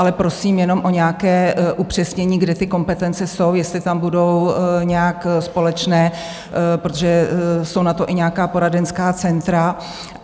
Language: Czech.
Ale prosím jenom o nějaké upřesnění, kde ty kompetence jsou, jestli tam budou nějak společné, protože jsou na to i nějaká poradenská centra.